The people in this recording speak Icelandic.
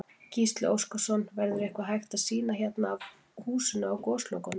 Gísli Óskarsson: Verður eitthvað hægt að sýna hérna af húsinu á Goslokunum?